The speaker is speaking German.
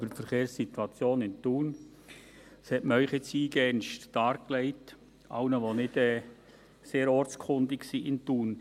Das hat man Ihnen nun eingehendst dargelegt – allen, die nicht sehr ortskundig sind in Thun.